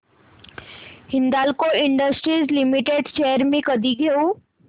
Hindalco industries limited shares मी कधी घेऊ